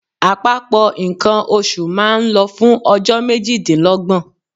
Àpapọ̀ nǹkan oṣù máa ń lọ fún ọjọ́ méjìdínlọ́gbọ̀n.